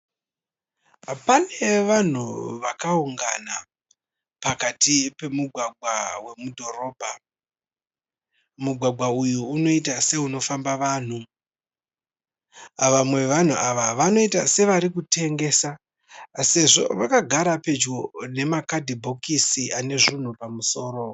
Pane vanhu vakaungana pakati pemugwagwa wemu dhorobha. Mugwagwa uyu unoita seuno famba vanhu. Vamwe vevanhu ava vanoita sevari kutengesa sezvo vakagara pedyo nemakadhibhokisi ane zvinhu pamusoro.